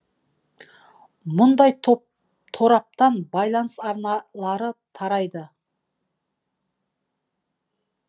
мұндай тораптан байланыс арналары тарайды